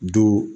Don